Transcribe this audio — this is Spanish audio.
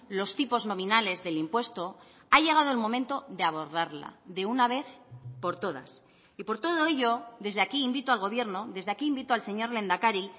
los tipos nominales del impuesto ha llegado el momento de abordarla de una vez por todas y por todo ello desde aquí invito al gobierno desde aquí invito al señor lehendakari